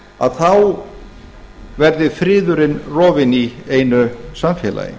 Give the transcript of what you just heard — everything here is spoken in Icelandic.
að þá verði friðurinn rofinn í einu samfélagi